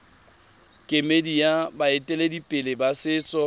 kemedi ya baeteledipele ba setso